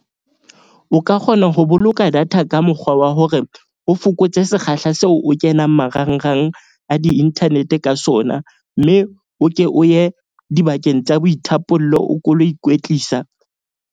O ka kgona ho boloka data ka mokgwa wa hore o fokotse sekgahla seo o kenang marangrang a di-internet-e ka sona. Mme o ke o ye dibakeng tsa boithapollo, o ko o lo ikwetlisa.